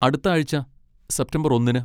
അടുത്ത ആഴ്ച, സെപ്റ്റംബർ ഒന്നിന്.